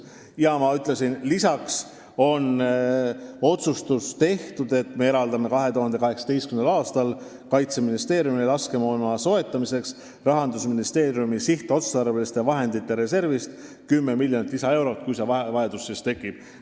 Ja nagu ma ütlesin, lisaks on tehtud otsustus, et me eraldame 2018. aastal Kaitseministeeriumile laskemoona soetamiseks Rahandusministeeriumi sihtotstarbeliste vahendite reservist 10 miljonit lisaeurot, kui selleks vajadus tekib.